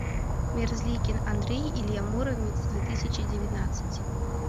мерзликин андрей илья муромец две тысячи девятнадцать